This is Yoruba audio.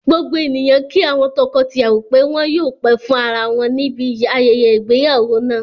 Gbogbo ènìyàn kí àwọn tọkọ tìyàwọ́ pé wọn yóò pẹ́ fún ara wọn níbi ayẹyẹ ìgbéyàwó náà